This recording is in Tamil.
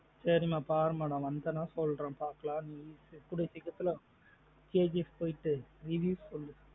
சரி மா பாரு மா நா வந்தேனா சொல்றேன் பாக்கலாம் நீ கூடிய சீக்கிரத்துல KGF போயிட்டு review சொல்லு.